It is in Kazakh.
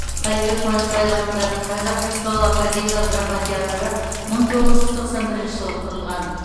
қалибек қуанышбаев атындағы қазақ музыкалық академиялық драма театры мың тоғыз жүз тоқсан бірінші жылы құрылған